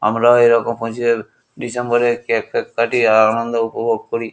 আমরাও এরকম পঁচিশে ডিসেম্বরে কেক ফেক কাটি আনন্দ উপভোগ করি।